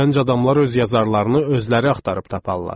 "Gənc adamlar öz yazarlarını özləri axtarıb taparlar.